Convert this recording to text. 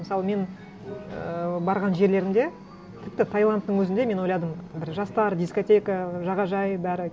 мысалы мен ііі барған жерлерімде тіпті таиландтың өзінде мен ойладым бір жастар дискотека ы жағажай бәрі